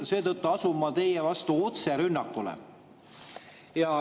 Seetõttu asun ma teie vastu otserünnakule.